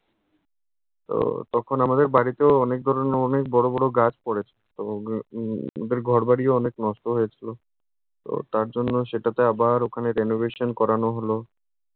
তো তখন আমাদের বাড়িতেও অনেক ধরনের অনেক বড় বড় গাছ পড়েছে। তো ঘর বাড়িও অনেক নষ্ট হয়েছিলো। তো তার জন্য সেটাতে আবার ওখানে renovation করানো হলো।